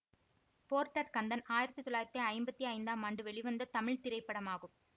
Porter Kandan ஆயிரத்தி தொள்ளாயிரத்தி ஐம்பத்தி ஐந்தாம் ஆண்டு வெளிவந்த தமிழ் திரைப்படமாகும்